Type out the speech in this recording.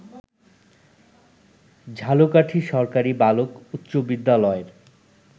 ঝালকাঠী সরকারি বালক উচ্চ বিদ্যালয়ের